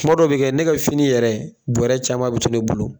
kuma dɔw bi kɛ ne kɛ fini yɛrɛ buwɛrɛ caman bi to ne bolo.